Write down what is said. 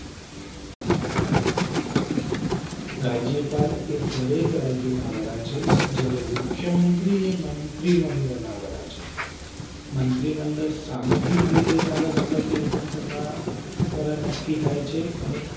રાજ્યપાલ એ દરેક રાજ્ય ના વડા છે જયારે મુખ્યમંત્રી મંડળ ના વડા છે. મંત્રી મંડળ સામુહિક રીતે ધારા સભા કે વિધાન સભા દ્વારા નક્કી થાય છે. અને